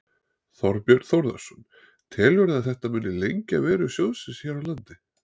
Þorbjörn Þórðarson: Telurðu að þetta muni lengja veru sjóðsins hér á landi?